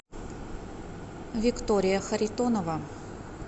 виктория харитонова